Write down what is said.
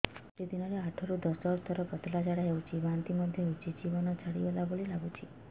ଗୋଟେ ଦିନରେ ଆଠ ରୁ ଦଶ ଥର ପତଳା ଝାଡା ହେଉଛି ବାନ୍ତି ମଧ୍ୟ ହେଉଛି ଜୀବନ ଛାଡିଗଲା ଭଳି ଲଗୁଛି